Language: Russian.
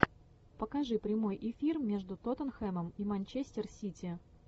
покажи прямой эфир между тоттенхэмом и манчестер сити